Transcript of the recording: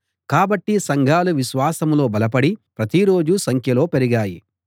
కాబట్టి సంఘాలు విశ్వాసంలో బలపడి ప్రతిరోజూ సంఖ్యలో పెరిగాయి